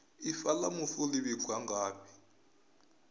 ifa la mufu li vhigwa ngafhi